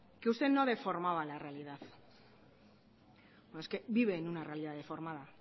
que usted no deformaba la realidad no es que vive en una realidad deformada